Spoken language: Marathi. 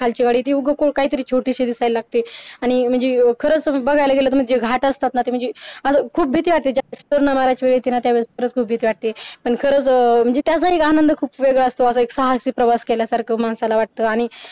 खालचीवाडी देऊळ काहीतरी छोटीशी लागतील आणि खरंच भघायला गेलं म्हणजे घाट असताना ते म्हणजे मला खूप भीती वाटे ज्यावेळेस करण्याची वेळ असते त्यावेळेस खूप भीती वाटते पण खरंच त्याच्या आनंद खूप वेगळं असत एक साहसी प्रवास केल्यासारखं माणसाला वाटत आणि आणि म्हणजे